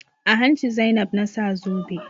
A hanci Zainab na sa zobe.